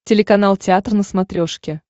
телеканал театр на смотрешке